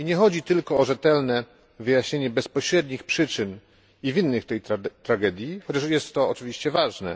Nie chodzi tylko o rzetelne wyjaśnienie bezpośrednich przyczyn i winnych tej tragedii, chociaż jest to oczywiście ważne.